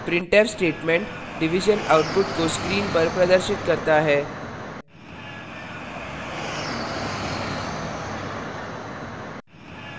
printf statement division output को screen पर प्रदर्शित करता है